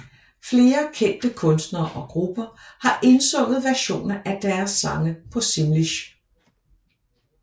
Flere kendte kunstnere og grupper har indsunget versioner af deres sange på simlish